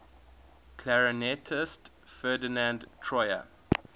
clarinetist ferdinand troyer